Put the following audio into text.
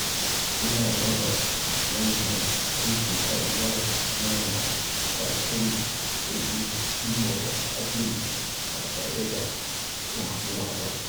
Ina raba manyan ayyuka zuwa ƙananan matakai domin cimma wa’adin ba tare da damuwa ba.